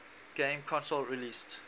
game console released